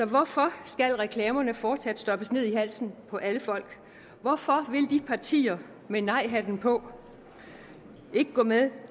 hvorfor skal reklamerne fortsat stoppes ned i halsen på alle folk hvorfor vil de partier med nejhatten på ikke gå med